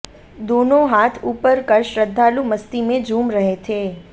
दोनों हाथ उपर कर श्रद्धालु मस्ती में झूम रहे थे